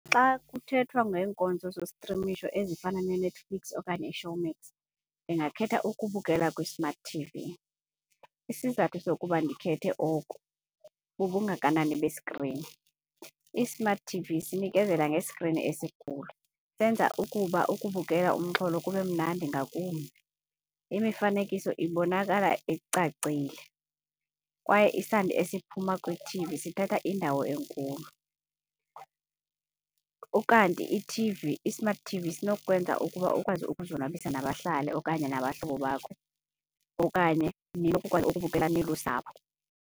Xa kuthethwa ngeenkonzo zostrimisho ezifana neNetflix okanye iShowmax ndingakhetha ukubukela kwi-smart T_V. Isizathu sokuba ndikhethe oku bubungakanani beskrini. I-smart T_V sinikezela ngeskrini isikhulu, senza ukuba ukubukela umxholo kube mnandi ngakumbi. Imifanekiso ibonakala icacile kwaye isandi esiphuma kwi-T_V sithatha indawo enkulu. Ukanti i-T_V, i-smart T_V sinokukwenza ukuba ukwazi ukuzonwabisa nabahlali okanye nabahlobo bakho okanye ninokukwazi ukubukela nilusapho.